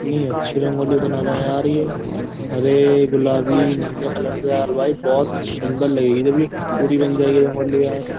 इतनी अच्छी रंगोली बना रहे हैं यार ये हरे गुलाबी नीले कलर से यार भाई बहुत सुंदर लगेगी जब ये पूरी बन जाएगी रंगोली यार।